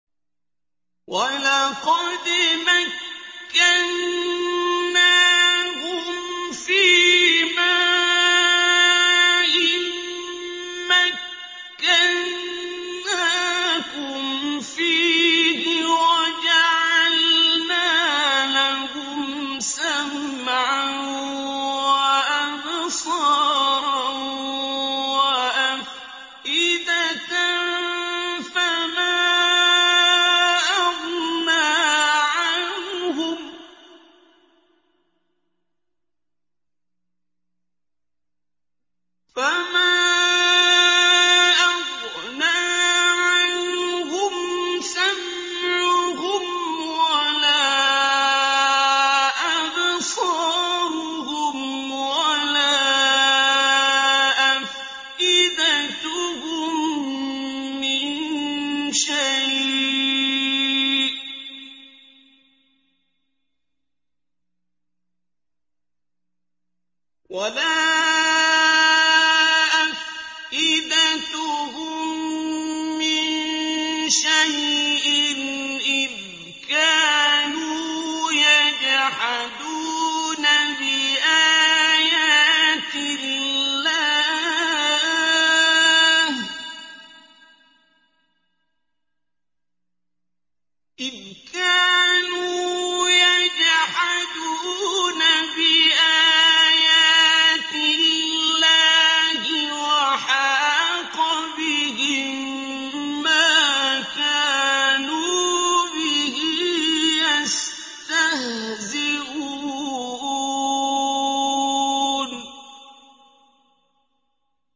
وَلَقَدْ مَكَّنَّاهُمْ فِيمَا إِن مَّكَّنَّاكُمْ فِيهِ وَجَعَلْنَا لَهُمْ سَمْعًا وَأَبْصَارًا وَأَفْئِدَةً فَمَا أَغْنَىٰ عَنْهُمْ سَمْعُهُمْ وَلَا أَبْصَارُهُمْ وَلَا أَفْئِدَتُهُم مِّن شَيْءٍ إِذْ كَانُوا يَجْحَدُونَ بِآيَاتِ اللَّهِ وَحَاقَ بِهِم مَّا كَانُوا بِهِ يَسْتَهْزِئُونَ